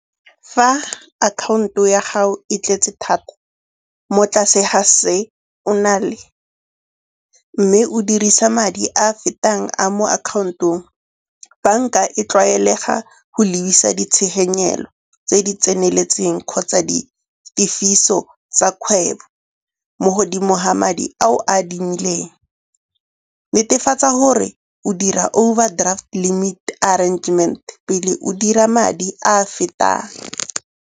Fa akhaonto ya gago e tletse thata mo tlase ga se o na le mme o dirisa madi a fetang a mo akhaontong, banka e tlwaelega go lebisa ditshenyegelo tse di tseneletseng kgotsa ditifiso tsa kgwebo mo godimo ga madi a o a adimileng. Netefatsa gore o dira overdraft limit arrangement pele o dira madi a a fetang.